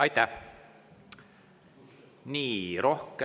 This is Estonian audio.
Aitäh!